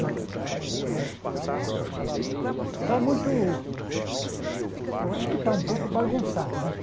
Já que... Tá muito... Eu acho que está um pouco bagunçado, né?